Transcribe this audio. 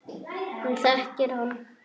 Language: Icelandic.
Hún þekkir hann.